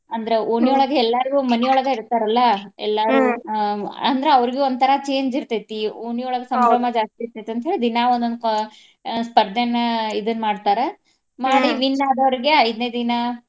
ಅಂದ್ರ ಎಲ್ಲಾರ್ಗು ಮನೆಯೊಳಗ ಇರ್ತಾರಲ್ಲಾ ಆ ಅಂದ್ರ ಅವ್ರಿಗು ಒಂಥರಾ change ಇರ್ತೈತಿ. ಓಣಿಯೊಳಗ್ ಜಾಸ್ತಿ ಇರ್ತೈತಿ ಅಂತ್ಹೇಳಿ ದಿನಾ ಒಂದೊಂದ ಕ್ವಾ~ ಸ್ಪರ್ದೆನ ಇದನ್ನ್ ಮಾಡ್ತಾರ. win ಆದವ್ರಿಗೆ ಐದ್ನೇ ದಿನಾ.